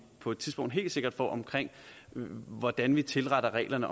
på et tidspunkt helt sikkert får om hvordan vi tilretter reglerne